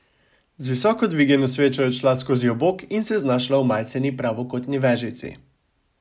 Z visoko vzdignjeno svečo je odšla skozi obok in se znašla v majceni pravokotni vežici.